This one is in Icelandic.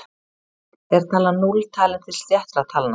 Er talan núll talin til sléttra talna?